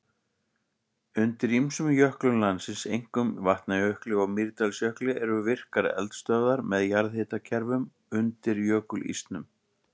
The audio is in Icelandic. Undir ýmsum jöklum landsins, einkum Vatnajökli og Mýrdalsjökli, eru virkar eldstöðvar með jarðhitakerfum undir jökulísnum.